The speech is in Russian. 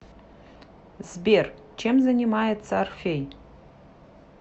сбер чем занимается орфей